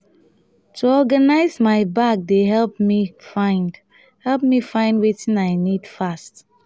to organize my bag dey help me find help me find wetin i need fast.